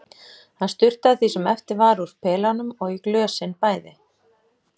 Hann sturtaði því sem eftir var úr pelanum og í glösin bæði.